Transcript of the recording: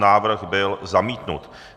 Návrh byl zamítnut.